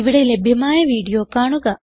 ഇവിടെ ലഭ്യമായ വീഡിയോ കാണുക